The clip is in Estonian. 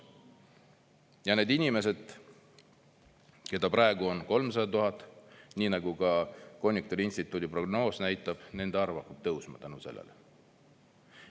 Ja need inimesed, keda praegu on 300 000, nii nagu ka konjunktuuriinstituudi prognoos näitab, nende arv hakkab tõusma tänu sellele.